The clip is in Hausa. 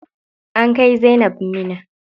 An kai zainab Minna.